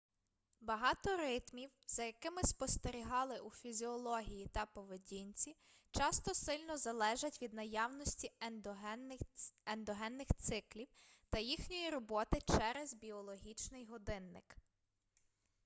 багато ритмів за якими спостерігали у фізіології та поведінці часто сильно залежать від наявності ендогенних циклів та їхньої роботи через біологічний годинник